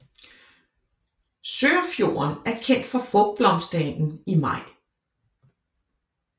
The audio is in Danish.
Sørfjorden er kendt for frugtblomstringen i maj